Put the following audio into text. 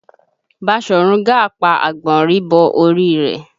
Baṣọ̀run Gáà pa àgbọ̀nrín bọ orí rẹ̀